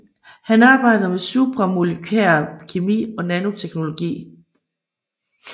Han arbejder med supramolykær kemi og nanoteknologi